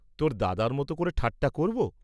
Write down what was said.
তোর দাদার মত করে ঠাট্টা করব?